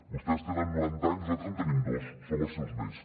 vostès tenen noranta anys nosaltres en tenim dos som els seus nets